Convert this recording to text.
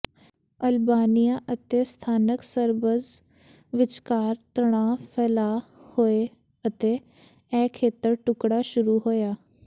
Albania ਅਤੇ ਸਥਾਨਕ Serbs ਵਿਚਕਾਰ ਤਣਾਅ ਫੈਲਾਅ ਹੋਇਆ ਅਤੇ ਇਹ ਖੇਤਰ ਟੁਕੜਾ ਸ਼ੁਰੂ ਹੋਇਆ